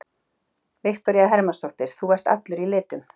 Viktoría Hermannsdóttir: Þú ert allur í litum?